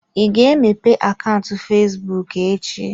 Ị ga-emepe akaụntụ fesbụụk echi?